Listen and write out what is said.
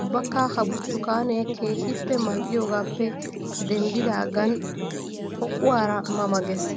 Ubbakka ha burttukaane keehippe mali'ayoogappe denddigan poqquwara ma ma geesi!